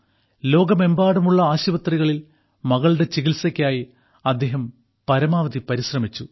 ലോകമെമ്പാടുമുള്ള ആശുപത്രികളിൽ മകളുടെ ചികിത്സയ്ക്കായി അദ്ദേഹം പരമാവധി പരിശ്രമിച്ചു